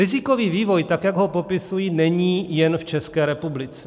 Rizikový vývoj, tak jak ho popisuji, není jen v České republice.